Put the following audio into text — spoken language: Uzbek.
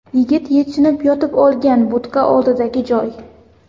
Yigit yechinib yotib olgan budka oldidagi joy.